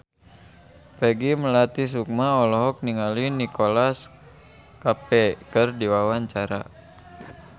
Peggy Melati Sukma olohok ningali Nicholas Cafe keur diwawancara